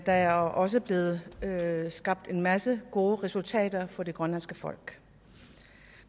der er også blevet skabt en masse gode resultater for det grønlandske folk